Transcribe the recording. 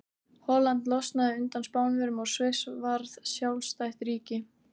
Holland losnaði undan Spánverjum og Sviss varð sjálfstætt ríki.